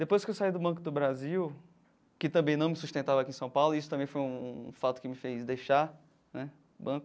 Depois que eu saí do Banco do Brasil, que também não me sustentava aqui em São Paulo, isso também foi um um fato que me fez deixar né o banco.